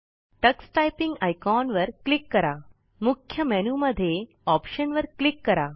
Tux typing icon वर click करा मुख्य मेन्यू मध्ये ऑप्शन वर क्लिक करा